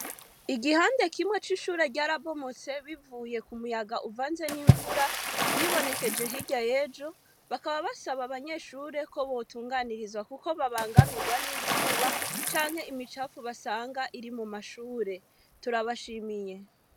Igihande kimwe c'ishure ryarabomotse bivuye ku muyaga uvanze n'imvura vyibonekeje hirya y'ejo, bakaba basaba abanyeshure ko botunganirizwa kuko babangamirwa n'izuba canke imicafu basanga iri mu mashure. Turabashimiye.